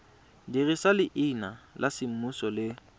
dirisa leina la semmuso le